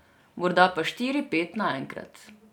Morda po štiri, pet naenkrat.